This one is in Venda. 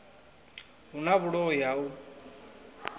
hu na vhuloi ha u